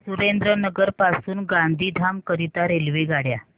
सुरेंद्रनगर पासून गांधीधाम करीता रेल्वेगाड्या